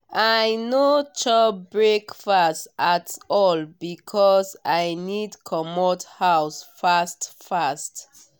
i no chop breakfast at all because i need comot house fast fast.